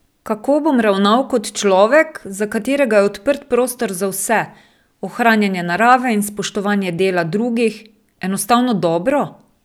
Kako bom ravnal kot človek, za katerega je odprt prostor za vse, ohranjanje narave in spoštovanje dela drugih, enostavno dobro?